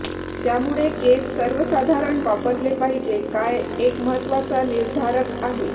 त्यामुळे केस सर्वसाधारण वापरले पाहिजे काय एक महत्वाचा निर्धारक आहे